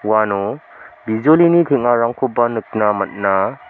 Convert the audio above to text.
uano bijolini teng·arangkoba nikna man·a.